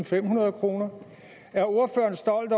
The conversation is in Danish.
femhundrede kroner er ordføreren stolt